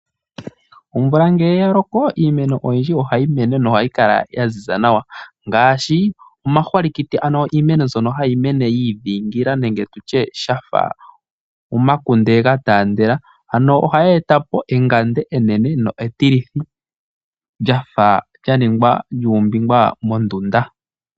Omvula ngele ya loko iimeno oyindji ohayi mene nohayi kala yaziza nawa ngaashi omahwalikiti ano iimeno mbyono hayi mene yi idhingila nenge tutye shafa omakunde ga taandela ano ohayi etapo engande enene lyo etilithi lyafa lyaningwa noombinga mondunda.